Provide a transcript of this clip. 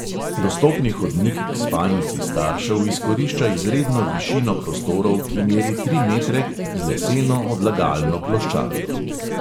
Dostopni hodnik k spalnici staršev izkorišča izredno višino prostorov, ki meri tri metre, z leseno odlagalno ploščadjo.